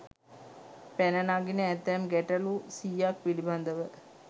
පැන නගින ඇතැම් ගැටලු 100 ක් පිළිබඳව